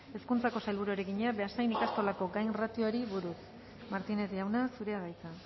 hezkuntzako sailburuari egina beasain ikastolako gainratioari buruz martínez jauna zurea da hitza